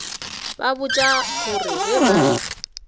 ba botša gore ge ba